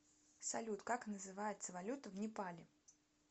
салют как называется валюта в непале